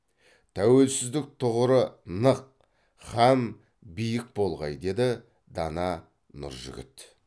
тәуелсіздік тұғыры нық хәм биік болғай деді дана нұржігіт